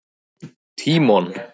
Tímon